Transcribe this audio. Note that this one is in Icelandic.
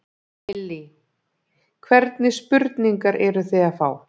Lillý: Hvernig spurningar eruð þið að fá?